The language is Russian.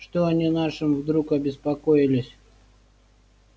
что они нашим вдруг обеспокоились